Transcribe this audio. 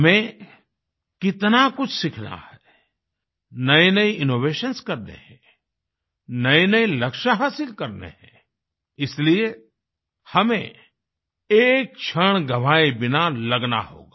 हमें कितना कुछ सीखना है नएनए इनोवेशंस करने हैं नएनए लक्ष्य हासिल करने हैं इसलिए हमें एक क्षण गंवाए बिना लगना होगा